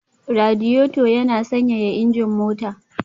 Radiator yana sanyaya injin mota